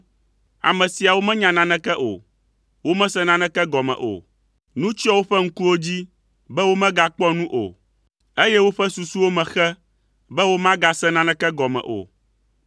Ame siawo menya naneke o. Womese naneke gɔme o. Nu tsyɔ woƒe ŋkuwo dzi be womegakpɔ nu o, eye woƒe susuwo me xe be womagase naneke gɔme o.